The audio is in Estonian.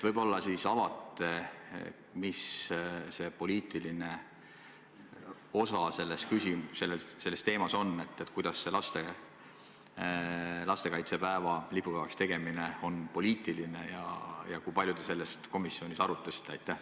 Võib-olla avate, mis see poliitiline osa selles teemas on, kuidas see lastekaitsepäeva lipupäevaks tegemine on poliitiline ja kui palju te seda komisjonis arutasite?